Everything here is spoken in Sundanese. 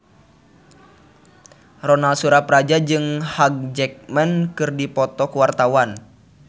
Ronal Surapradja jeung Hugh Jackman keur dipoto ku wartawan